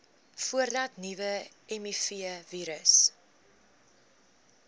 voordat nuwe mivirusse